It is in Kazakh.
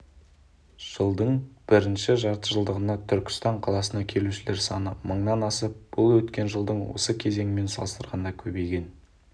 жылдың бірінші жартыжылдығында түркістан қаласына келушілер саны мыңнан асып бұл өткен жылдың осы кезеңімен салыстырғанда көбейген